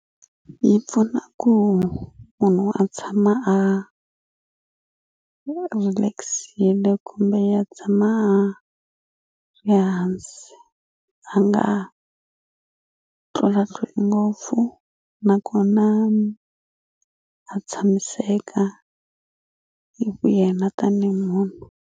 Yi pfuna ku munhu a tshama a relax-ile kumbe ya tshama a ya hansi a nga tlulatluli ngopfu nakona a tshamiseka hi vu yena tanihi munhu.